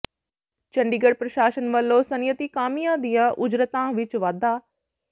ਚੰਡੀਗੜ੍ਹ ਪ੍ਰਸ਼ਾਸਨ ਵੱਲੋਂ ਸਨਅਤੀ ਕਾਮਿਆਂ ਦੀਆਂ ਉਜਰਤਾਂ ਵਿੱਚ ਵਾਧਾ